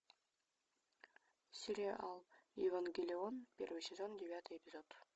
сериал евангелион первый сезон девятый эпизод